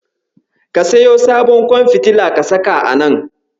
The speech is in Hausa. Ka siyo sabon ƙwan fitila ka saka a nan.